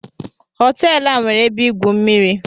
Hotel a nwere ebe igwu mmiri